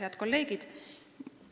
Head kolleegid!